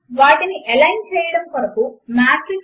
కనుక అవి చక్కగా ఎలైన్ చేయబడిన సమీకరణముల సెట్ అవుతాయి